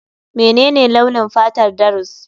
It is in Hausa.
Menene launin fatar Darius?